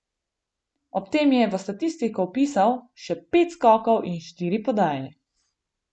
Ob tem je v statistiko vpisal še pet skokov in štiri podaje.